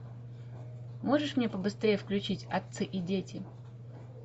можешь мне побыстрее включить отцы и дети